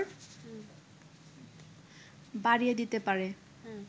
বাড়িয়ে দিতে পারে